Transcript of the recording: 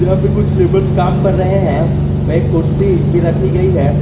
यहां पे कुछ लेबर कम कर रहे हैं वे कुर्सी भी रखी गई हैं।